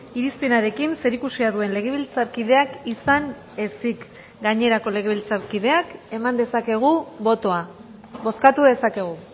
irizpenarekin zerikusia duen legebiltzarkideak izan ezik gainerako legebiltzarkideak eman dezakegu botoa bozkatu dezakegu